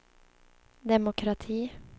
demokrati